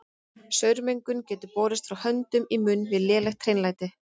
Saurmengun getur borist frá höndum í munn við lélegt hreinlæti.